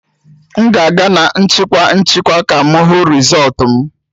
M ga-aga na nchịkwa nchịkwa ka m hụ rịzọlt m